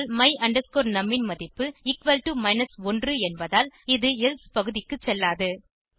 ஆனால் my num ன் மதிப்பு 1 என்பதால் இது எல்சே பகுதிக்கு செல்லாது